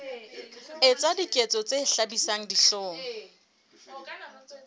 etsa diketso tse hlabisang dihlong